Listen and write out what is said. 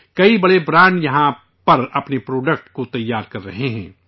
کئی بڑے برانڈ یہیں پر اپنے پروڈکٹ کو تیار کر رہے ہیں